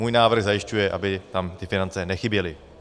Můj návrh zajišťuje, aby tam ty finance nechyběly.